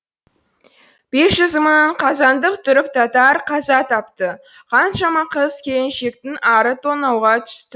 бес жүз мың қазандық түрік татар қаза тапты қаншама қыз келіншектің ары тонауға түсті